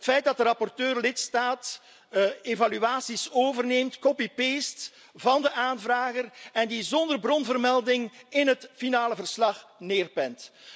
Het feit dat de rapporteur lidstaat evaluaties overneemt, copy paste van de aanvrager, en die zonder bronvermelding in het eindverslag neerpent.